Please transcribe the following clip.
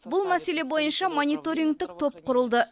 бұл мәселе бойынша мониторингтік топ құрылды